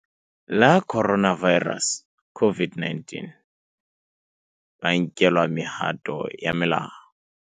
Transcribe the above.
la Coronavi rus, COVID-19, ba nkelwa mehato ya molao.